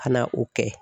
Ka na o kɛ